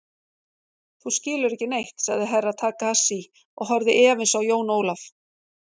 Þú skilur ekki neitt, sagði Herra Takashi og horfði efins á Jón Ólaf.